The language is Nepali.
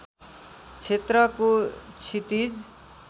क्षेत्रको क्षितिज